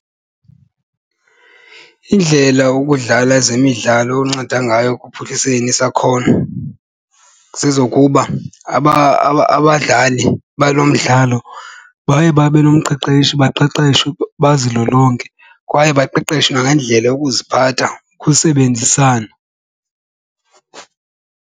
Iindlela ukudlala ezemidlalo unceda ngayo ekuphuhliseni isakhono zezokuba abadlali balo mdlalo baye babe nomqeqeshi baqeqeshwe bazilolonge kwaye baqeqeshwe nangendlela yokuziphatha ukusebenzisana.